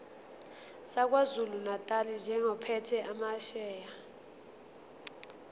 sakwazulunatali njengophethe amasheya